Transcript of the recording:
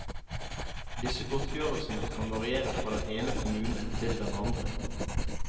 Disse godtgjørelsene kan variere fra den ene kommune til den andre.